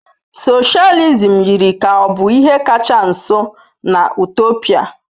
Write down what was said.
Socialism yiri ka ọ bụ ihe kacha nso na Utopia.